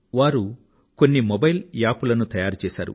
వారు కొన్ని mobile app లను తయారు చేశారు